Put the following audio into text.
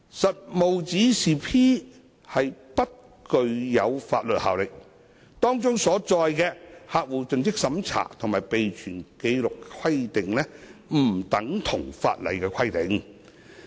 《實務指示 P》不具法律效力，當中所載的客戶盡職審查及備存紀錄規定不等同法例規定。